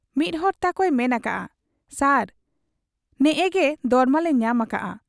ᱢᱤᱫ ᱦᱚᱲ ᱛᱟᱠᱚᱭ ᱢᱮᱱ ᱟᱠᱟᱜ ᱟ, 'ᱥᱟᱨ ᱱᱮᱜᱻᱮ ᱜᱮ ᱫᱚᱨᱢᱟᱞᱮ ᱧᱟᱢ ᱟᱠᱟᱜ ᱟ ᱾